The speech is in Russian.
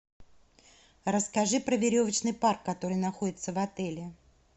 расскажи про веревочный парк который находится в отеле